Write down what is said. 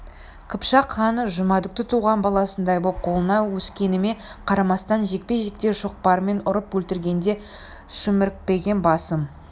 қыпшақ ханы жұмадүкті туған баласындай боп қолында өскеніме қарамастан жекпе-жекте шоқпармен ұрып өлтіргенде шімірікпеген басым